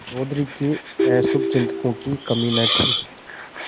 चौधरी के अशुभचिंतकों की कमी न थी